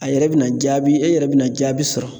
A yɛrɛ bɛna jaabi e yɛrɛ bɛna jaabi sɔrɔ